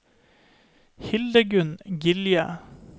Hildegunn Gilje